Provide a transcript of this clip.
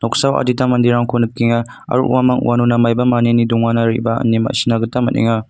noksao adita manderangko nikenga aro uamang uanona maiba maniani dongana re·baa ine ma·sina gita man·enga.